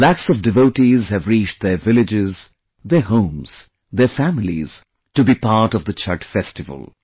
Lakhs of devotees have reached their villages, their homes, their families to be a part of the 'Chhath' festival